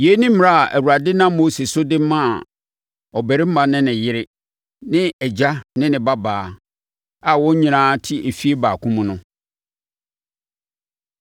Yei ne mmara a Awurade nam Mose so de maa ɔbarima ne ne yere ne agya ne ne babaa a wɔn nyinaa te efie baako mu no.